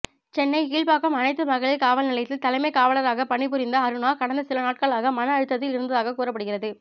சென்னை கீழ்ப்பாக்கம் அனைத்து மகளிர் காவல்நிலையத்தில் தலைமை காவலராக பணிபுரிந்த அருணா கடந்த சிலநாட்களாக மன அழுத்தத்தில் இருந்ததாக கூறப்படுகிறது